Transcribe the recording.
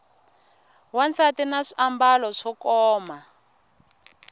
wansati na swiambalo swo koma